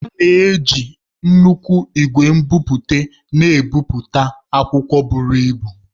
A na-eji nnukwu ìgwè nbipute na-ebipụta akwụkwọ buru ibu